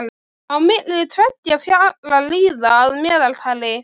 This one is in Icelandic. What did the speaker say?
Á milli tveggja falla líða að meðaltali